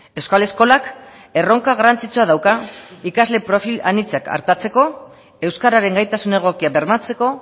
euskal eskolak erronka garrantzitsua dauka ikasle perfil aintzat artatzeko euskararen gaitasun egokia bermatzeko